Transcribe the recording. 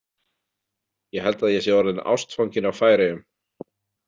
Ég held að ég sé orðinn ástfanginn af Færeyjum.